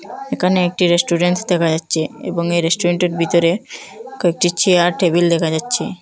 এখানে একটি রেস্টুরেন্টস দেখা যাচ্ছে এবং রেস্টুরেন্টের বিতরে কয়েকটি চেয়ার টেবিল দেখা যাচ্ছে।